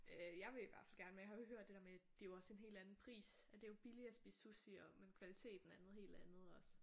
Øh jeg vil i hvert fald gerne men jeg har hørt det der med det er jo også en helt anden pris at det er jo billig at spise sushi og men kvaliteten er noget helt andet også